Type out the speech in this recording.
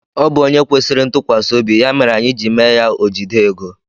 Ọ bụ ónyé kwesịrị ntukwasiobi ya mere anyị ji mee ya ojide égo.